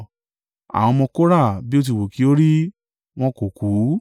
Àwọn ọmọ Kora, bí ó ti wù kí ó rí, wọn kò kú.